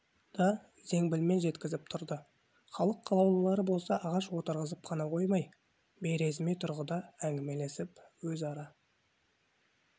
да зеңбілмен жеткізіп тұрды халық қалаулылары болса ағаш отырғызып қана қоймай бейресми тұрғыда әңгімелесіп өзара